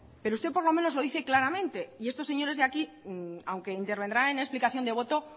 pero usted por lo menos lo dice claramente y estos señores de aquí aunque intervendrán en explicación de voto